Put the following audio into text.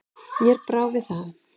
Mér brá við það.